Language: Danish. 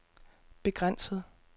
begrænset